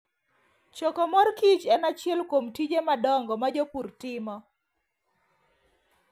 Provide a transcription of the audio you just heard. Choko mor kich en achiel kuom tije madongo ma jopur timo.